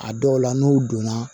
A dɔw la n'u donna